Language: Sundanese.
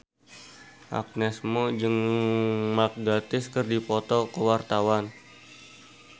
Agnes Mo jeung Mark Gatiss keur dipoto ku wartawan